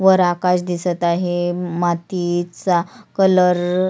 वर आकाश दिसत आहे मातीचा कलर --